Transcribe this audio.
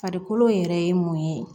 Farikolo yɛrɛ ye mun ye